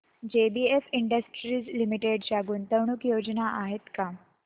JBF industries limited च्या गुंतवणूक योजना आहेत का